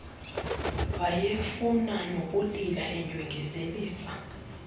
wayefuna nokulila endyengezelisa